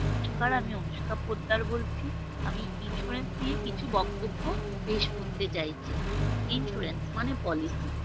নমস্কার আমি অনুষ্কা পোদ্দার বলছি আমি Insurance নিয়ে কিহু বক্তব্য পেশ করতে চাইছি Insurance মানে Policy